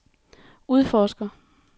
udforsker